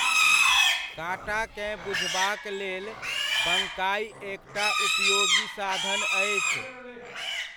काटाकेँ बुझबाक लेल बङ्काइ एक टा उपयोगी साधन अछि।